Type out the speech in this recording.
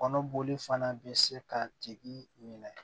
Kɔnɔ boli fana bɛ se ka tigi minɛ